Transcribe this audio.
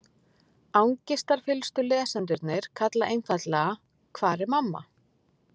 Angistarfyllstu lesendurnir kalla einfaldlega: Hvar er mamma?